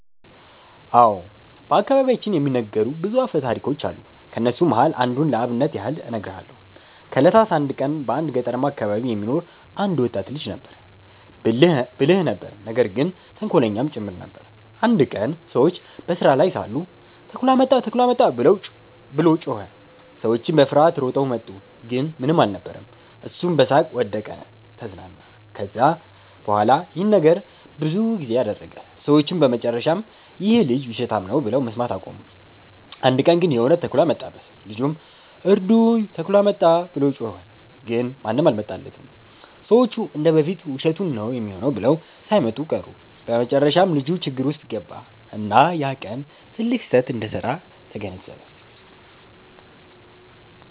አዎ። በአከባቢያችን የሚነገሩ ብዙ አፈታሪኮች አሉ። ከነሱም መሃል አንዱን ለአብነት ያህል እነግርሃለው። ከ እለታት አንድ ቀን በአንድ ገጠርማ አከባቢ የሚኖር አንድ ወጣት ልጅ ነበረ። ብልህ ነበር ነገር ግን ተንኮለኛም ጭምር ነበር። አንድ ቀን ሰዎች በስራ ላይ ሳሉ “ተኩላ መጣ! ተኩላ መጣ!” ብሎ ጮኸ። ሰዎቹም በፍርሃት ሮጠው መጡ፣ ግን ምንም አልነበረም። እሱም በሳቅ ወደቀ(ተዝናና)። ከዚያ በኋላ ይህን ነገር ብዙ ጊዜ አደረገ። ሰዎቹም በመጨረሻ “ይህ ልጅ ውሸታም ነው” ብለው መስማት አቆሙ። አንድ ቀን ግን የእውነት ተኩላ መጣበት። ልጁም “እርዱኝ! ተኩላ መጣ!” ብሎ ጮኸ። ግን ማንም አልመጣለትም፤ ሰዎቹ እንደ በፊቱ ውሸቱን ነው ሚሆነው ብለው ሳይመጡ ቀሩ። በመጨረሻም ልጁ ችግር ውስጥ ገባ፣ እና ያ ቀን ትልቅ ስህተት እንደሰራ ተገነዘበ።